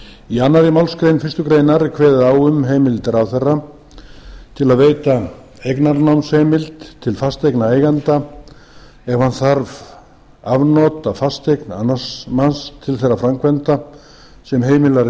í annarri málsgrein fyrstu grein er kveðið á um heimild ráðherra til að veita eignarnámsheimild til fasteignaeigenda ef hann þarf afnot af fasteign annars manns til þeirra framkvæmda sem heimilar